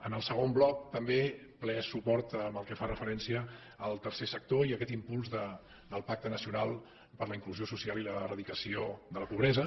en el segon bloc també ple suport al que fa referència al tercer sector i a aquest impuls del pacte nacional per a la inclusió social i l’eradicació de la pobresa